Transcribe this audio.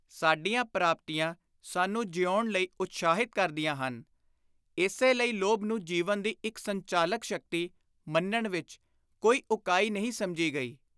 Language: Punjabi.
” ਸਾਡੀਆਂ ਪ੍ਰਾਪਤੀਆਂ ਸਾਨੂੰ ਜੀਊਣ ਲਈ ਉਤਸ਼ਾਹਿਤ ਕਰਦੀਆਂ ਹਨ, ਇਸੇ ਲਈ ਲੋਭ ਨੂੰ ਜੀਵਨ ਦੀ ਇਕ ਸੰਚਾਲਕ ਸ਼ਕਤੀ ਮੰਨਣ ਵਿਚ ਕੋਈ ਉਕਾਈ ਨਹੀਂ ਸਮਝੀ ਗਈ।